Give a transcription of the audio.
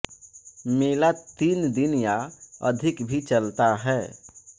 मेला तीन दिन या अधिक भी चलता है